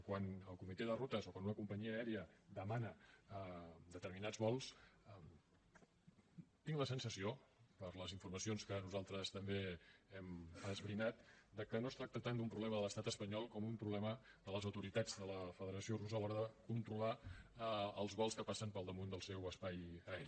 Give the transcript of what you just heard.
quan el comitè de rutes o quan una companyia aèria demana determinats vols tinc la sensació per les informacions que nosaltres també hem esbrinat de que no es tracta tant d’un problema de l’estat espanyol com d’un problema de les autoritats de la federació russa a l’hora de controlar els vols que passen per damunt del seu espai aeri